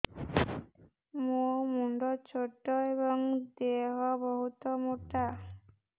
ମୋ ମୁଣ୍ଡ ଛୋଟ ଏଵଂ ଦେହ ବହୁତ ମୋଟା